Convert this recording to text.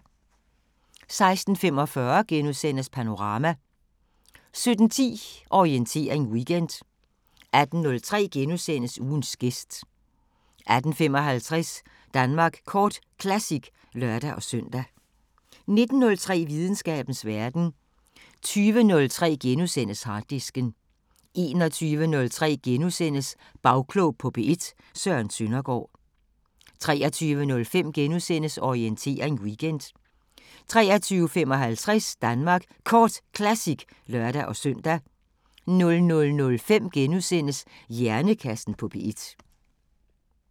16:45: Panorama * 17:10: Orientering Weekend 18:03: Ugens gæst * 18:55: Danmark Kort Classic (lør-søn) 19:03: Videnskabens Verden 20:03: Harddisken * 21:03: Bagklog på P1: Søren Søndergaard * 23:05: Orientering Weekend * 23:55: Danmark Kort Classic (lør-søn) 00:05: Hjernekassen på P1 *